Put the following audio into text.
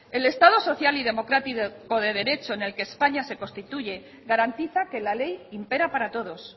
el estado social y democrático de derecho en el que españa se constituye garantiza que la ley impera para todos